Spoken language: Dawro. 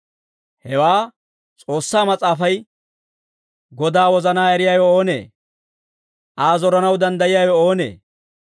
Hewaa S'oossaa Mas'aafay, «Godaa wozanaa eriyaawe oonee? Aa zoranaw danddayiyaawe oonee?